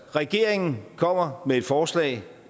regeringen kommer med et forslag